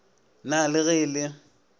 na le ge e le